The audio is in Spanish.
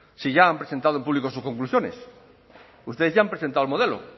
si ya han presentado en público sus conclusiones ustedes ya han presentado el modelo